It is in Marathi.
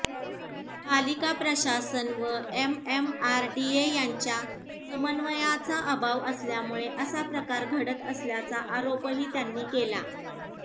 पालिका प्रशासन व एमएमआरडीए यांच्या समन्वयाचा अभाव असल्यामुळे असा प्रकार घडत असल्याचा आरोपही त्यांनी केला